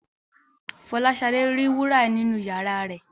Fọláṣadé ri wúrà nínu iyàrá rẹ.